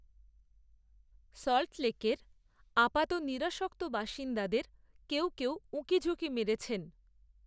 সল্টলেকের, আপাত নিরাসক্ত বাসিন্দাদের কেউ কেউ, উঁকিঝুঁকি মেরেছেন